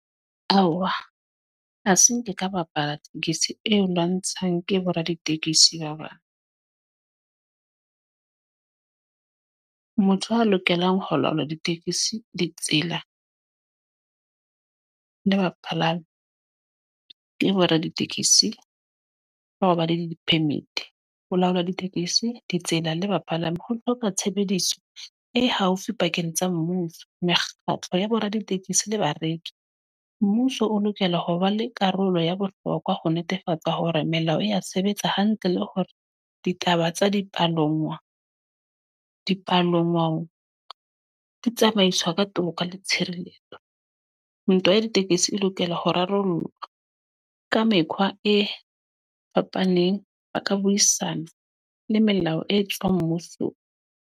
Aowa. A se nke ka bapala tekesi eo lwantshang ke bo raditekesi ba bang. Motho a lokelang ho laola ditekesi, ditsela le bapalami. Ke bo raditekesi ba ho ba le di-permit. Ho laola ditekesi, ditsela le bapalami, ho hloka tshebediso e haufi pakeng tsa mmuso, mekgatlo ya bo raditekesi le bareki. Mmuso o lokela ho ba le karolo ya bohlokwa ho netefatsa hore melao ya sebetsa hantle. Le hore ditaba tsa dipalangwa, dipalangwang di tsamaiswa ka toka le tshireletso. Ntwa ya ditekesi e lokela ho rarollwa, ka mekgwa e fapaneng. Ba ka buisana, le melao e tswang mmuso.